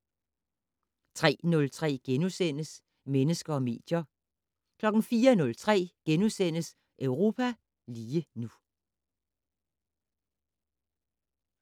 03:03: Mennesker og medier * 04:03: Europa lige nu *